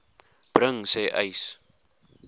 bring sê uys